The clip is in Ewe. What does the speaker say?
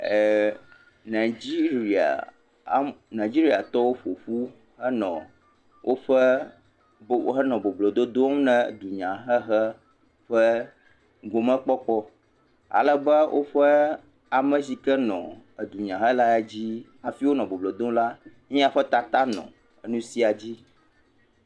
Ɛɛɛ Nigeria, Nigeriatɔwo ƒo ƒu henɔ woƒe, henɔ boblododom na dunyahehe ƒe gomekpɔkpɔ. Ale be woƒe ame si ke nɔ edunyahela dzi hafi wonɔ boblodom la, míaƒe tata nɔ enu sia dzi.